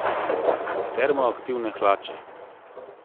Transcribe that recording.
Termoaktivne hlače.